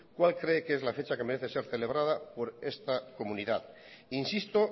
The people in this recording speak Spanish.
cuál cree que es la fecha que merece ser celebrada por esta comunidad insisto